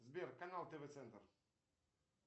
сбер канал тв центр